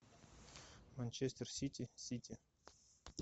манчестер сити сити